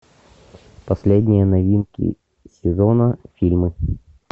последние новинки сезона фильмов